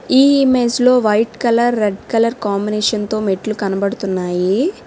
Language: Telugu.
ఈ ఇమేజ్ లో white colour red colour combination తో మెట్లు కనబడుతున్నాయి.